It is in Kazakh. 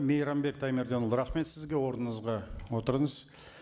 мейрамбек таймерденұлы рахмет сізге орныңызға отырыңыз